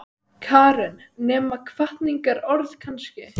Karen: Nema hvatningarorð kannski?